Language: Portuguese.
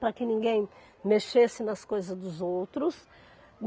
para que ninguém mexesse nas coisas dos outros.